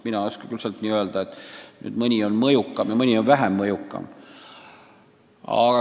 Mina ei oska küll öelda, et mõni riik on väga mõjukas ja mõni on vähem mõjukas.